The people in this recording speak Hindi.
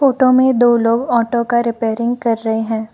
फोटो में दो लोग ऑटो का रिपेयरिंग कर रहे हैं।